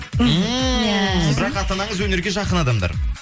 бірақ ата анаңыз өнерге жақын адамдар